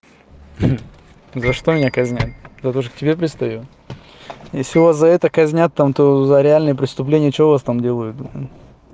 за что меня казнят за то что к тебе пристаю если у вас за это казнят там то за реальное преступление что у вас там делают